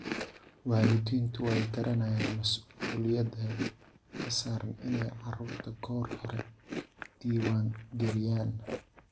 Waalidiintu way garanayaan mas'uuliyadda ka saaran inay carruurta goor hore diwaangeliyaan.